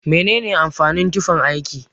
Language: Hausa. Mene amfanin tufan aiki?